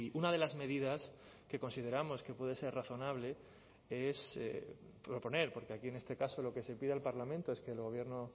una de las medidas que consideramos que puede ser razonable es proponer porque aquí en este caso lo que se pide al parlamento es que el gobierno